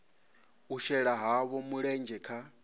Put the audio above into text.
u shela havho mulenzhe kha